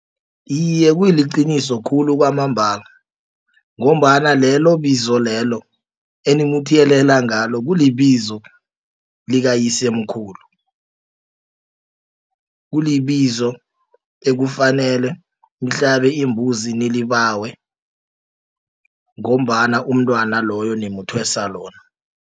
Iye kuliqiniso khulu kwamambala ngombana lelo bizo lelo enimuthiyelela ngalo kulibizo likayisemkhulu. Kulibizo ekufanele nihlabe imbuzi ninilibawe ngombana umntwana loyo nimuthwesa lona.